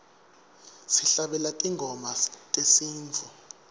sihlabelela tingoma tesintfu